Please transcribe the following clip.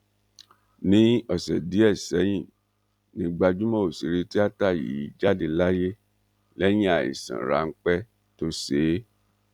ní ọsẹ díẹ sẹyìn ni gbajúmọ òṣèré tíata yìí jáde láyé lẹyìn àìsàn ráńpẹ tó ṣe é